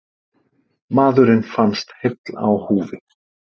Maðurinn fannst heill á húfi